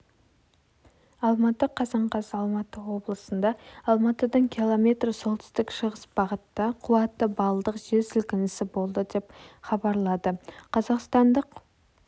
алматы қазан қаз алматы облысында алматыдан км солтүстік-шығыс бағытта қуаты баллдық жерсілкінісі болды деп хабарлады қазақстандық